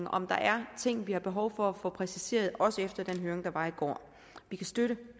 om der er ting vi har behov for at få præciseret også efter den høring der var i går vi kan støtte